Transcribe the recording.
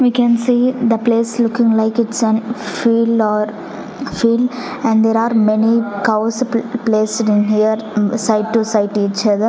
we can see the place looking like it's an field or field and there are many cows placed in here site to site each other .